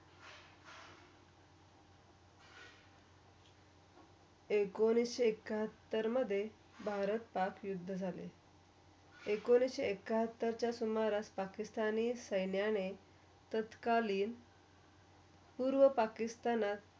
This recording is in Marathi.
एकोणीस एकाहत्तरमधे भारत, पाक, एकोणीस एकाहत्तरच्या पाकिस्तानी सेनाने तथकरलीन पूर्व पाकिस्तान.